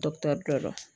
dɔ